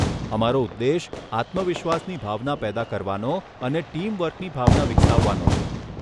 અમારો ઉદ્દેશ આત્મવિશ્વાસની ભાવના પેદા કરવાનો અને ટીમ વર્કની ભાવના વિકસાવવાનો છે.